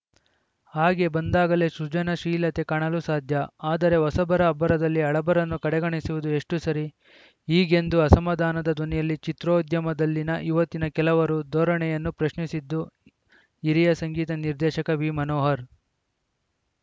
ಹಾಗೆ ಬಂದಾಗಲೇ ಸೃಜನಾಶೀಲತೆ ಕಾಣಲು ಸಾಧ್ಯಆದರೆ ಹೊಸಬರ ಅಬ್ಬರದಲ್ಲಿ ಹಳಬರನ್ನು ಕಡೆಗಣಿಸುವುದು ಎಷ್ಟುಸರಿ ಹೀಗೆಂದು ಅಸಮಾಧಾನದ ಧ್ವನಿಯಲ್ಲಿ ಚಿತ್ರೋದ್ಯಮದಲ್ಲಿನ ಇವತ್ತಿನ ಕೆಲವರ ಧೋರಣೆಯನ್ನು ಪ್ರಶ್ನಿಸಿದ್ದು ಹಿರಿಯ ಸಂಗೀತ ನಿರ್ದೇಶಕ ವಿ ಮನೋಹರ್‌